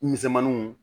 Misɛmaninw